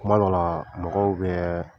kuma dɔ la mɔgɔw bɛ